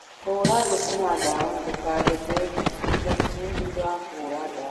Hũra thũkũma ndawa na ndũkagethe thikũ ithatũ thutha wa kũhũra ndawa.